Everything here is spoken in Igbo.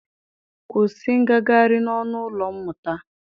Kwusi ngagarị n'ọnụ ụlọ mmụta!